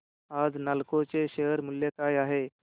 आज नालको चे शेअर मूल्य काय आहे